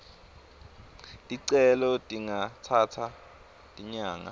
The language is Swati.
ticelo tingatsatsa tinyanga